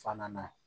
Fana na